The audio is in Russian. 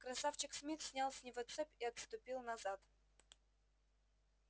красавчик смит снял с него цепь и отступил назад